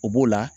O b'o la